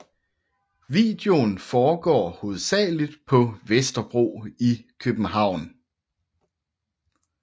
Videoen foregår hovedsageligt på Vesterbro i København